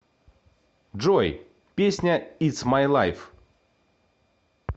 джой песня итс май лайв